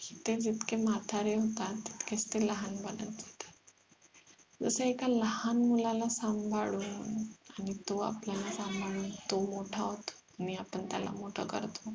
ते जितके म्हातारे होतात तितकेच ते लहान बनत असतात जस एका लहान मुलाला सांभाळून आणि तो आपल्याला सांभाळून तो मोठा होतो आणि आपण त्याला मोठा करतो